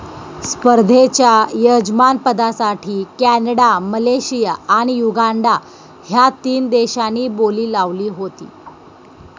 स्पर्धेच्या यजमानपदासाठी Canada, Malaysia आणि युगांडा ह्या तीन देशांनी बोली लावली होती.